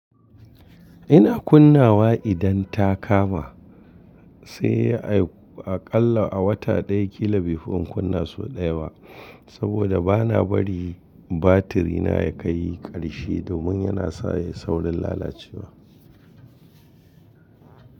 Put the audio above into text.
Ina kunnawa idan ta kama, sai aƙalla a wata ɗaya kila bifi in kunna sau ɗaya wa. Saboda bana bari batirina ya kai ƙarshe domin yana sa ya yi saurin lalacewa.